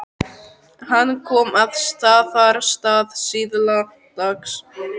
Hann kom að Staðarstað síðla dags.